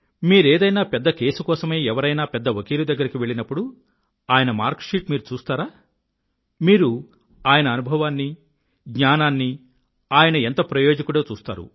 మీరేదన్నా పెద్ద కేసు కోసమై ఎవరైనా పెద్ద వకీలు దగ్గరకు వెళ్ళినప్పుడు ఆయన మార్కు షీట్ మీరు చూస్తారా మీరు ఆయన అనుభవాన్ని జ్ఞానాన్ని ఆయన ఎంత ప్రయోజకుడో చూస్తారు